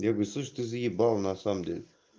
я говорю слышишь ты заебал на самом деле